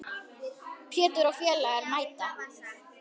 Pétur og félagar mæta.